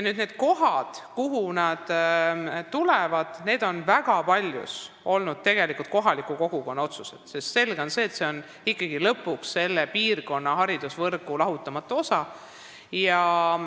Need kohad, kuhu riigigümnaasiumid tulevad, on väga paljus olnud tegelikult kohaliku kogukonna otsustada, sest see on ikkagi lõpuks selle piirkonna haridusvõrgu lahutamatu osa.